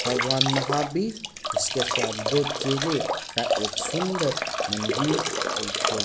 भगवान महाबीर उसके साथ दो चेले का एक सुंदर सा मंदिर अ जो --